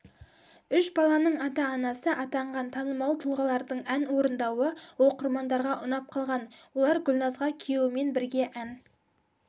үш баланың ата-анасы атанған танымал тұлғалардың ән орындауы оқырмандарға ұнап қалған олар гүлназға күйеуімен бірге ән